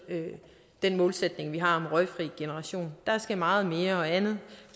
den målsætning vi har om en røgfri generation der skal meget mere og andet